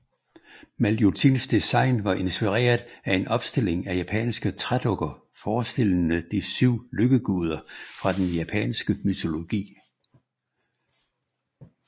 Maljutins design var inspireret af en opstilling af japanske trædukker forestillende de syv lykkeguder fra den japanske mytologi